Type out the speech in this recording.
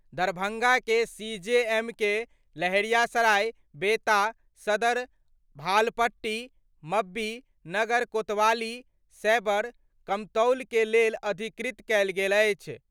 दरभंगा के सीजेएम के लहेरियासराय, बेंता, सदर, भालपट्टी, मब्बी, नगर, कोतवाली, सैबर, कमतौल के लेल अधिकृत कएल गेल अछि।